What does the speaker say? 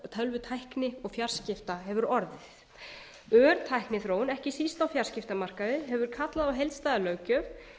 tölvutækni og fjarskipta hefur orðið ör tækniþróun ekki síst á fjölmiðlamarkaði hefur kallað á heildstæða löggjöf